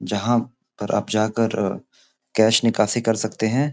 जहां पर आप जाकर कैश निकासी कर सकते हैं।